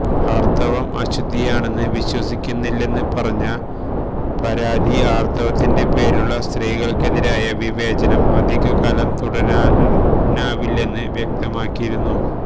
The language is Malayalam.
ആര്ത്തവം അശുദ്ധിയാണെന്ന് വിശ്വസിക്കുന്നില്ലെന്ന് പറഞ്ഞ പാര്വതി ആര്ത്തവത്തിന്റെ പേരിലുള്ള സ്ത്രീകള്ക്കെതിരായ വിവേചനം അധികാലം തുടരാനാവില്ലെന്ന് വ്യക്തമാക്കിയിരുന്നു